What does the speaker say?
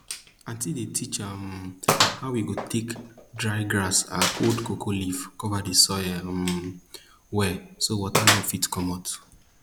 auntie dey teach um we how we go take dry grass and old cocoa leaves cover di soil um well so water no fit comot